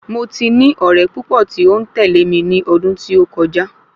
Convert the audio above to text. Mo ti ní ọ̀rẹ́ púpọ̀ tí ó ń tẹ̀lé mi ní ọdún tí ó kọjá